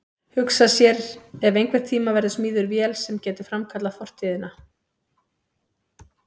Hugsa sér ef einhvern tíma verður smíðuð vél sem getur framkallað fortíðina.